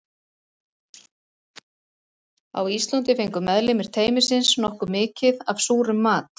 Á Íslandi fengu meðlimir teymisins nokkuð mikið af súrum mat.